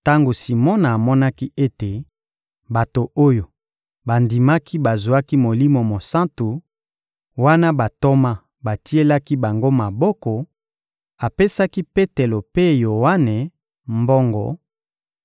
Tango Simona amonaki ete bato oyo bandimaki bazwaki Molimo Mosantu, wana bantoma batielaki bango maboko, apesaki Petelo mpe Yoane mbongo;